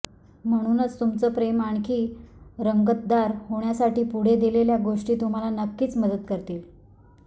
म्हणूनच तुमचं प्रेम आणखी रंगतदार होण्यासाठी पुढे दिलेल्या गोष्टी तुम्हाला नक्कीच मदत करतील